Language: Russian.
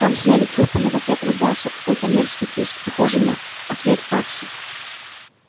там сняли трубку но в ответ раздался какой-то мерзкий писк похожий на ответ факса